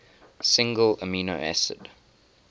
single amino acid